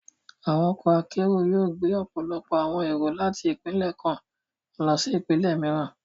Àwọn ọkọ akero yóò gbe ọpọlọpọ awọn ero láti ipinlẹ kàn lọsí ipinlẹ mìíràn.